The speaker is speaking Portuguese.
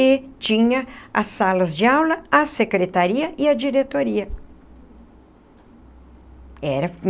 E tinha as salas de aula, a secretaria e a diretoria era.